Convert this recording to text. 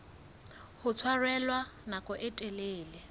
ho tshwarella nako e telele